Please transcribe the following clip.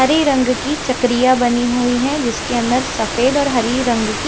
हरे रंग की चकरिया बनी हुई हैं जिसके अंदर सफेद और हरी रंग की--